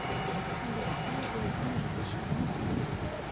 алексея владимировича никифорова